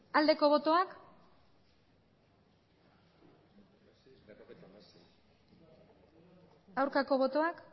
aldeko botoak aurkako botoak